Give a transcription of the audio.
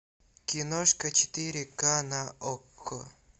киношка четыре ка на окко